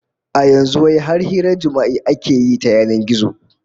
A yanzu wai har hirar jima'i ake yi ta yanan gizo